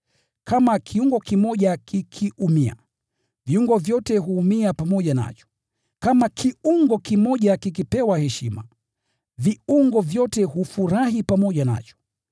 Kama kiungo kimoja kikiumia, viungo vyote huumia pamoja nacho, kama kiungo kimoja kikipewa heshima, viungo vyote hufurahi pamoja nacho.